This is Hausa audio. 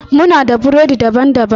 Muna da burodi daban-baban.